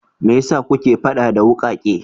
Me ya sa kuke faɗa da wukake?